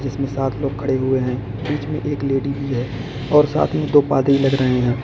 इसमें सात लोग खड़े हुए हैं बीच में एक लेडी भी है और साथ मे दो पादरी लग रहे हैं।